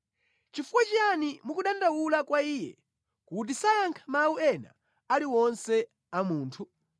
Chifukwa chiyani mukudandaula kwa Iye kuti sayankha mawu ena aliwonse a munthu?